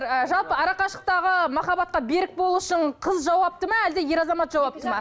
ы жалпы арақашықтағы махаббатқа берік болу үшін қыз жауапты ма әлде ер азамат жауапты ма